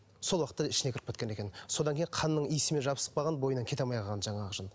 сол уақытта ішіне кіріп кеткен екен содан кейін қанның иісімен жабысып қалған бойынан кете алмай қалған жаңағы жын